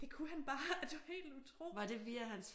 Det kunne han bare og det var helt utroligt